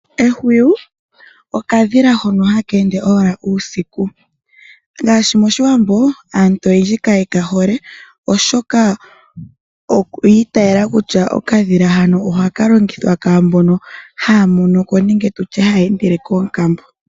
Ehwiyu, okadhila hono haka ende owala uusiku. Ngaashi moshiwambo aantu oyendji kaye ka hole, oshoka oyi itaala kutya okadhila hano ohaka longithwa kwaambono haya mono ko nenge tutye haya endele koonkambo.